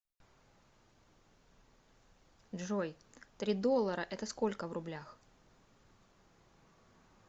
джой три доллара это сколько в рублях